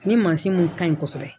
Ni mansin mun ka ɲi kosɛbɛ